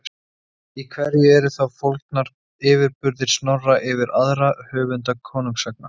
Í hverju eru þá fólgnir yfirburðir Snorra yfir aðra höfunda konungasagna?